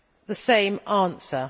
the same answer.